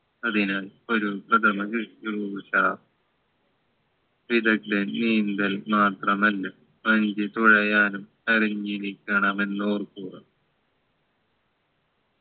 അതിന് ഒരു പ്രഥമ ശുശ്രൂഷ വിദഗ്ദ്ധ നീന്തൽ മാത്രമല്ല വഞ്ചി തുഴയാനും അറിഞ്ഞിരിക്കണമെന്ന് ഓർക്കുക